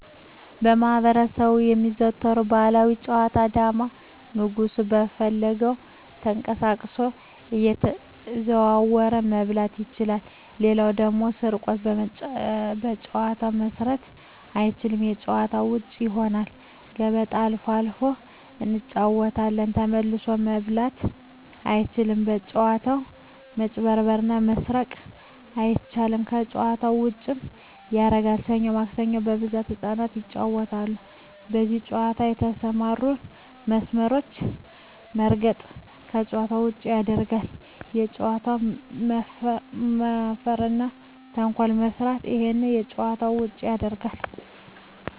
በማህበረሰቡ የሚዘወተሩ ባህላዊ ጨዋታ ዳማ ንጉሡ በፈለገው ተቀሳቅሶ እየተዘዋወረ መብላት ይችላል ሌላው ደግሞ ስርቆት በጨዋታው መስረቅ አይቻልም ከጭዋታ ውጭ ይሆናል ገበጣ አልፎ አልፎ እንጫወታለን ተመልሶ መብላት አይቻልም በጭዋታው መጭበርበር እና መስረቅ አይቻልም ከጨዋታው ዉጭም ያረጋል ሠኞ ማክሰኞ በብዛት ህጻናት ይጫወታሉ በዚህ ጨዋታ የተሠማሩትን መስመሮች መርገጥ ከጨዋታ ውጭ ያረጋል በጨዋታው መፈረ እና ተንኮል መስራት እሄም ከጨዋታ ውጭ ያረጋል